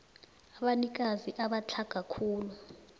abanikazi abatlhaga khulu